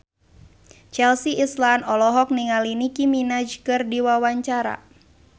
Chelsea Islan olohok ningali Nicky Minaj keur diwawancara